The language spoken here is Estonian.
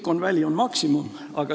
Silicon Valley on maksimum.